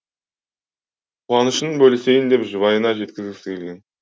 қуанышын бөлісейін деп жұбайына жеткізгісі келген